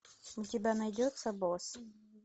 у тебя найдется босс